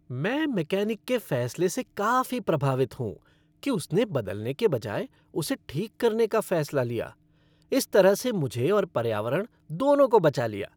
मैं मैकेनिक के फैसले से काफी प्रभावित हूँ कि उसने बदलने के बजाय उसे ठीक करने का फैसला लिया। इस तरह से मुझे और पर्यावरण, दोनों को बचा लिया।